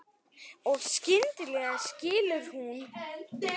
Og skyndilega skilur hún.